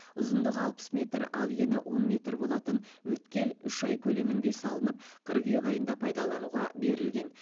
ұзындығы алпыс метр ал ені он метр болатын өткел үш ай көлемінде салынып қыркүйек айында пайдалануға берілген